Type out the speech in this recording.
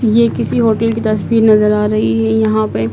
ये किसी होटल की तस्वीर नजर आ रही है यहां पे--